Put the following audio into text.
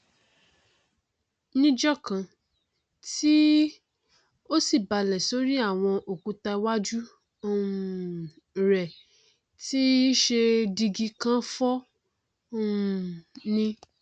níjọkan tí ó sì balẹ sórí àwọn òkúta iwájú um rẹ tí í ṣe dígí kàn fọ um ni